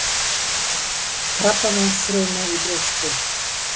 Krabbameinsfruma í brjósti.